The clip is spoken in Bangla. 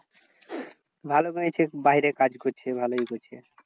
ভালো হয়েছে বাইরে কাজ করছে ভালোই হয়েছে।